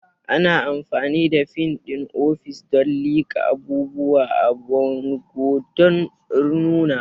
Ana amfani da fin ɗin ofis don liƙa abubuwa a bango don nunawa.